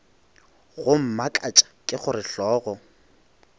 go mmakatša ke gore hlogo